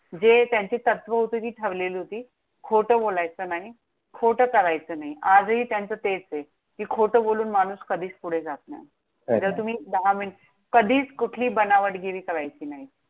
जे त्यांची तत्व होती ती ठरलेली होती. खोटं बोलायचं नाही, खोटं करायचं नाही. आजही त्यांचं तेच आहे. कि खोटं बोलून माणूस कधीच पुढे जात नाही. खरंय जर का तुम्ही दहा मिं, कधीच कुठली बनावटगिरी करायची नाही.